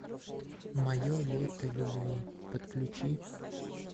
мое лето любви подключи